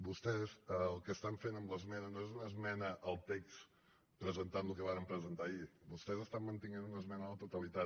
vostès el que estan fent amb l’esmena no és una esmena al text presentant el que varen presentar ahir vostès estan mantenint una esmena a la totalitat